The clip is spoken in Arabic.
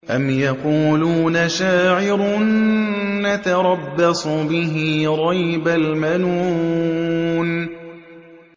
أَمْ يَقُولُونَ شَاعِرٌ نَّتَرَبَّصُ بِهِ رَيْبَ الْمَنُونِ